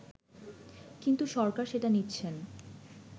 কিন্তু সরকার সেটা নিচ্ছেন